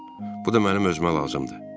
Bu da mənə özümə lazımdır.